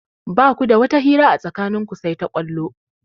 Ba ku da wata hira a tsakanin ku sai ta ƙwallo.